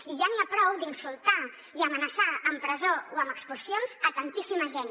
i ja n’hi ha prou d’insultar i amenaçar amb presó o amb expulsions tantíssima gent